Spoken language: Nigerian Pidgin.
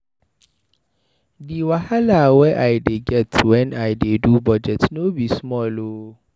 Di wahala wey I dey get wen I dey do budget no be small o.